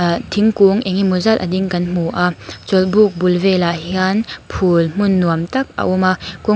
aaa thingkung eng emaw zat a ding kan hmu a chawlhbuk bul velah hian phûl hmun nuam tak a awm a kawng --